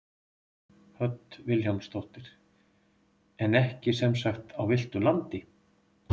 Hödd Vilhjálmsdóttir: En ekki sem sagt á villtu landi?